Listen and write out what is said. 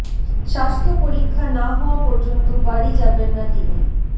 স্বাস্থ্য পরীক্ষা না হওয়া পর্যন্ত বাড়ি যাবেন না তিনি